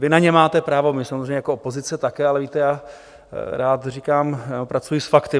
Vy na ně máte právo, my samozřejmě jako opozice také, ale víte, já rád říkám, pracuji s fakty.